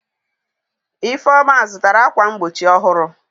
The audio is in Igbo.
Ifeoma zutara akwa mgbochi ohuru.